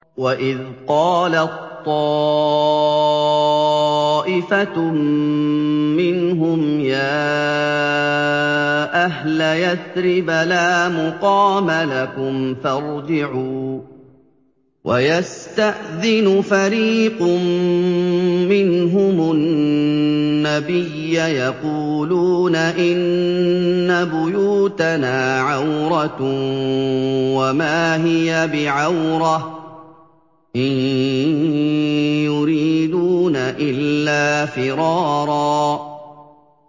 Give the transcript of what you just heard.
وَإِذْ قَالَت طَّائِفَةٌ مِّنْهُمْ يَا أَهْلَ يَثْرِبَ لَا مُقَامَ لَكُمْ فَارْجِعُوا ۚ وَيَسْتَأْذِنُ فَرِيقٌ مِّنْهُمُ النَّبِيَّ يَقُولُونَ إِنَّ بُيُوتَنَا عَوْرَةٌ وَمَا هِيَ بِعَوْرَةٍ ۖ إِن يُرِيدُونَ إِلَّا فِرَارًا